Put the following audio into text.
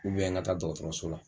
ŋa taa dɔgɔtɔrɔso la.